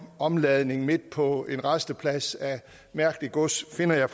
omladning midt på en rasteplads af mærkeligt gods finder jeg